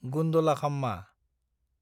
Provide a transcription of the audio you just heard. गुन्दलाखाम्मा